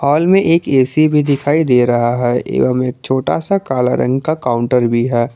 Hall में एक AC भी दिखाई दे रहा है एवं एक छोटा सा काला रंग का काउंटर भी है।